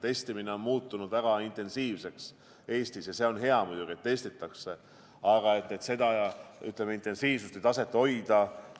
Testimine on muutunud Eestis väga intensiivseks ja see on muidugi hea, et testitakse, aga seda intensiivsuse taset tuleks hoida.